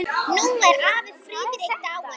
Nú er afi Friðrik dáinn.